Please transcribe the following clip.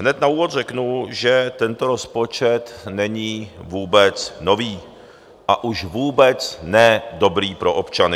Hned na úvod řeknu, že tento rozpočet není vůbec nový, a už vůbec ne dobrý pro občany.